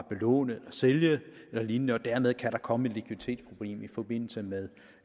belåne sælge eller lignende og dermed kan komme et likviditetsproblem i forbindelse med